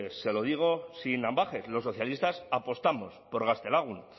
se lo digo sin ambages los socialistas apostamos por gaztelagun